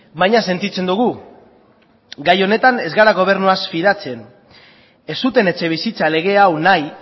baina sentitzen dugu gai honetan ez gara gobernuaz fidatzen ez zuten etxebizitza lege hau nahi